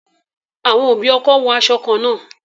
Àwọn òbí ọkọ wo aṣọ kan náà